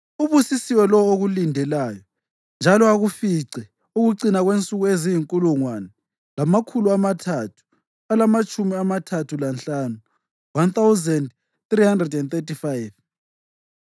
Ubusisiwe lowo okulindelayo njalo akufice ukucina kwensuku eziyinkulungwane lamakhulu amathathu alamatshumi amathathu lanhlanu (1,335).